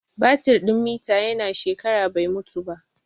Batir din mita ya na shekara bai mutu ba